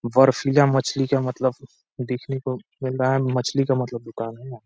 बर्फीला मछली का मतलब देखने को मिल रहा है। मछली का मतलब दुकान है यहाँ।